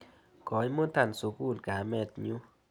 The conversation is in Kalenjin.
Koimuta sukul kamet nyu.